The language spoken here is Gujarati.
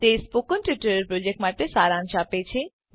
તે સ્પોકન ટ્યુટોરીયલ પ્રોજેક્ટનો સારાંશ આપે છે